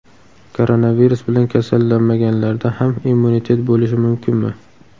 Koronavirus bilan kasallanmaganlarda ham immunitet bo‘lishi mumkinmi?